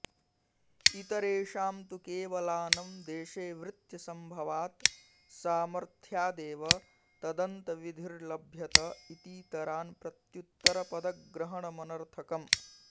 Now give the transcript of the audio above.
इतरेषां तु केवलानं देशे वृत्त्यसम्भवात् सामथ्र्यादेव तदन्तविधिर्लभ्यत इतीतरान् प्रत्युत्तरपदग्रहणमनर्थकम्